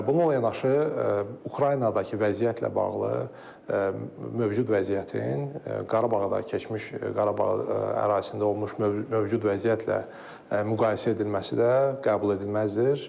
Bununla yanaşı, Ukraynadakı vəziyyətlə bağlı mövcud vəziyyətin Qarabağda keçmiş Qarabağ ərazisində olmuş mövcud vəziyyətlə müqayisə edilməsi də qəbul edilməzdir.